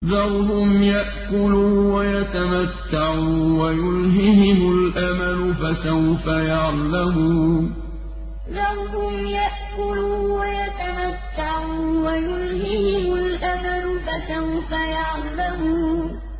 ذَرْهُمْ يَأْكُلُوا وَيَتَمَتَّعُوا وَيُلْهِهِمُ الْأَمَلُ ۖ فَسَوْفَ يَعْلَمُونَ ذَرْهُمْ يَأْكُلُوا وَيَتَمَتَّعُوا وَيُلْهِهِمُ الْأَمَلُ ۖ فَسَوْفَ يَعْلَمُونَ